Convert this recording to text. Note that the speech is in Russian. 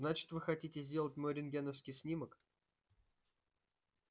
значит вы хотите сделать мой рентгеновский снимок